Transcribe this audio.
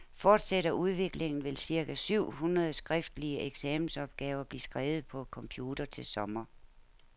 Fortsætter udviklingen, vil cirka syv hundrede skriftlige eksamensopgaver blive skrevet på computer til sommer.